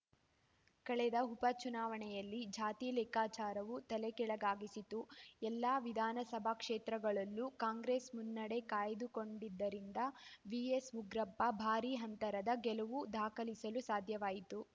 ಕಳೆದ ಉಪ ಚುನಾವಣೆಯಲ್ಲಿ ಜಾತಿ ಲೆಕ್ಕಾಚಾರವೂ ತಲೆಕೆಳಗಾಗಿಸಿತು ಎಲ್ಲ ವಿಧಾನಸಭಾ ಕ್ಷೇತ್ರಗಳಲ್ಲೂ ಕಾಂಗ್ರೆಸ್‌ ಮುನ್ನಡೆ ಕಾಯ್ದುಕೊಂಡಿದ್ದರಿಂದ ವಿಎಸ್‌ಉಗ್ರಪ್ಪ ಭಾರೀ ಅಂತರದ ಗೆಲುವು ದಾಖಲಿಸಲು ಸಾಧ್ಯವಾಯಿತು